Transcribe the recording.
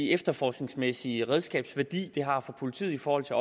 efterforskningsmæssige redskabsværdi det har for politiet i forhold til